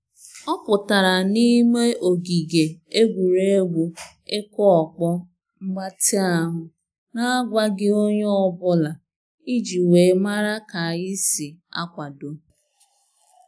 Ọ pụtara n'ime ogige egwuregwu ịkụ ọkpọ mgbatị ahụ na agwaghị onye ọ bụla, iji wee mara ka anyị si akwado